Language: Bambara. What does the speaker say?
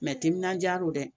timinandiya don dɛ